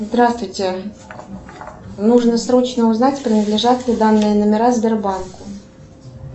здравствуйте нужно срочно узнать принадлежат ли данные номера сбербанку